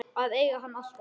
Að eiga hann alltaf.